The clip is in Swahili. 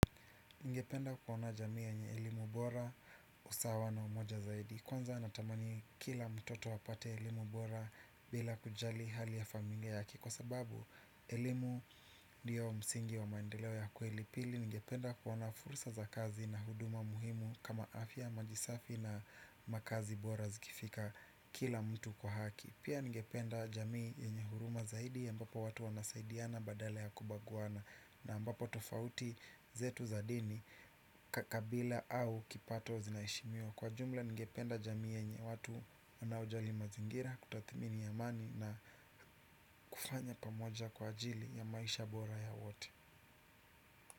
Nigependa kuona jamii yenye elimu bora usawa na umoja zaidi. Kwanza natamani kila mtoto apate elimu bora bila kujali hali ya familia yake. Kwa sababu elimu ndio msingi wa maendeleo ya kweli pili nigependa kuona fursa za kazi na huduma muhimu kama afia majisafi na makazi bora zikifika kila mtu kwa haki. Pia nigependa jamii yenye huruma zaidi ya ambapo watu wanasaidiana badala ya kubaguana na ambapo tofauti zetu za dini kakabila au kipato zinaishimiwa. Kwa jumla ngependa jamii yenye watu wanaojali mazingira kutathimini amani na kufanya pamoja kwa ajili ya maisha bora ya wote.